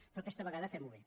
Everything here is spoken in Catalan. però aquesta vegada fem ho bé